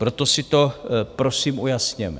Proto si to, prosím, ujasněme.